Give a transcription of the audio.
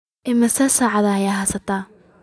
Immisa sac ayaad heysataa?